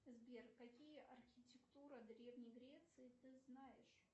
сбер какие архитектуры древней греции ты знаешь